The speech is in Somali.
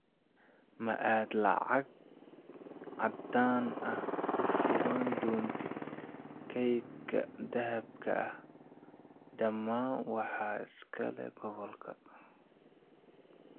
Ma aad lacag caddaan ah ku shuban doontid kaydka dahabka ah, dhammaan waxaa iska leh Gobolka.